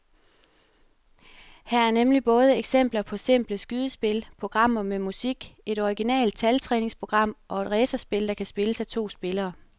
Her er nemlig både eksempler på simple skydespil, programmer med musik, et originalt taltræningsprogram og et racerspil, der kan spilles af to spillere.